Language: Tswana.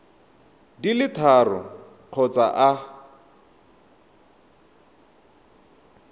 di le tharo kgotsa a